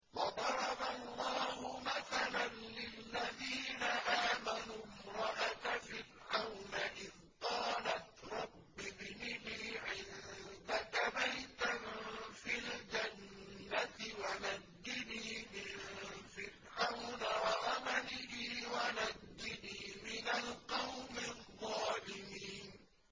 وَضَرَبَ اللَّهُ مَثَلًا لِّلَّذِينَ آمَنُوا امْرَأَتَ فِرْعَوْنَ إِذْ قَالَتْ رَبِّ ابْنِ لِي عِندَكَ بَيْتًا فِي الْجَنَّةِ وَنَجِّنِي مِن فِرْعَوْنَ وَعَمَلِهِ وَنَجِّنِي مِنَ الْقَوْمِ الظَّالِمِينَ